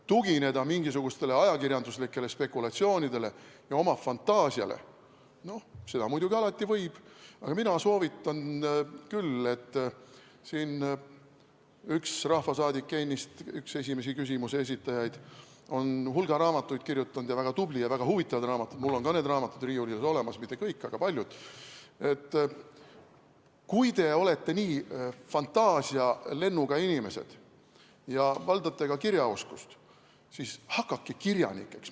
Tugineda mingisugustele ajakirjanduslikele spekulatsioonidele ja oma fantaasiale – seda muidugi alati võib, aga mina soovitan küll , et kui te olete nii fantaasialennuga inimesed ja valdate ka kirjaoskust, siis hakake kirjanikeks.